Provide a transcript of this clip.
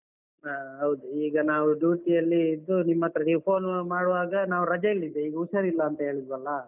ಹಾ ಹೌದು. ಈಗ ನಾವು duty ಯಲ್ಲಿ ಇದ್ದು ನಿಮ್ ಹತ್ರ ನೀವ್ phone ಮಾಡುವಾಗ ನಾವು ರಜೆಯಲ್ಲಿ ಇದ್ದೆ. ಈಗ ಹುಷಾರಿಲ್ಲ ಅಂತ ಹೇಳಿದ್ವಲ್ಲಾ?